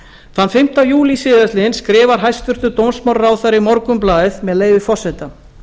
þann fimmta júlí síðastliðinn skrifar hæstvirtur dómsmálaráðherra í morgunblaðið með leyfi forseta